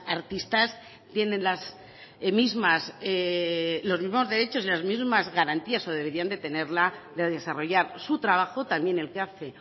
artistas tienen las mismas los mismos derechos y las mismas garantías o deberían de tenerla de desarrollar su trabajo también el que hace